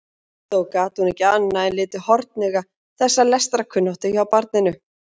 Þó gat hún ekki annað en litið hornauga þessa lestrarkunnáttu hjá barninu.